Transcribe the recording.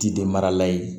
Ti de mara la ye